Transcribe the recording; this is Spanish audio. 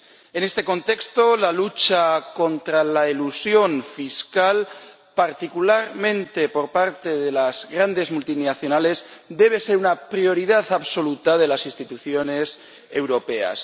En este contexto, la lucha contra la elusión fiscal —particularmente por parte de las grandes multinacionales— debe ser una prioridad absoluta de las instituciones europeas.